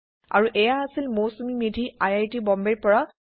আৰু এয়া আছিল Mousumi Medhi I I T Bombay ৰ পৰা